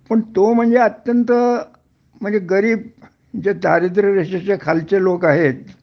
पण तो म्हणजे अत्यंत म्हणजे गरीब जे दारिद्र्य रेषेच्या खालचे लोक आहेत